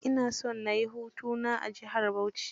Ina son na yi hutu na a jihar Bauchi.